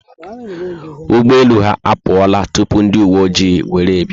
Ụgbọelu ha apuola tupu ndi uwe oji were bia